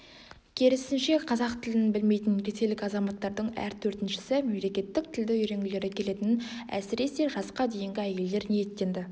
керісінше қазақ тілін білмейтін ресейлік азаматтардың әр төртіншісі мемлекеттік тілді үйренгілері келетінін әсресе жасқа дейінгі әйелдер ниеттенді